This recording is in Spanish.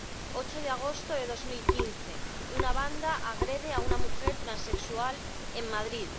el 8 de agosto de 2015, una banda agrede a una mujer transexual en Madrid.